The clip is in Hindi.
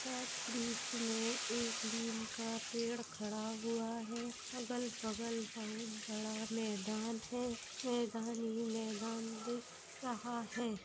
यहाँ पर बीच में एक नीम का पेड़ खड़ा हुआ है | अगल-बगल बहुत बड़ा मैदान है | मैदान ही मैदान दिख रहा है।